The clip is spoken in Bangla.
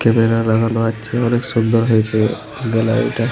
ক্যামেরা লাগানো আছে অনেক সুন্দর হয়েছে গ্যালারি টা।